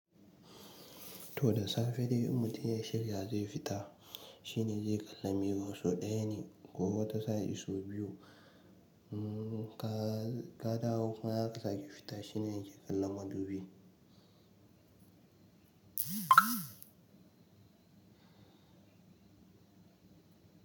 To da safe dai in mutum ya shirya zai fita shine zai kalla mirror sau ɗaya ne kokuma wata sa in sau biyu ne. Ka kadawo kuma zaka sake fita shine yake kallon madubi.